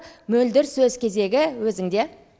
мөлдір сөз кезегі өзіңде